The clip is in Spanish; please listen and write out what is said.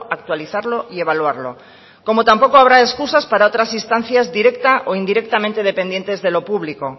actualizarlo y evaluarlo como tampoco habrá excusas para otras instancias directa o indirectamente dependientes de lo público